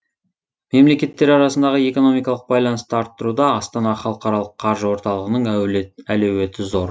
мемлекеттер арасындағы экономикалық байланысты арттыруда астана халықаралық қаржы орталығының әлеуеті зор